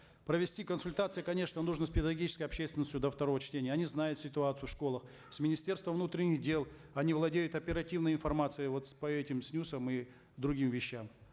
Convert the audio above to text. провести консультации конечно нужно с педагогической общественностью до второго чтения они знают ситуацию в школах с министерством внутренних дел они владеют оперативной информацией вот по этим снюсам и другим вещам